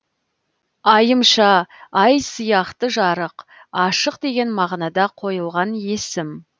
айымша ай сияқты жарық ашық деген мағынада қойылған есім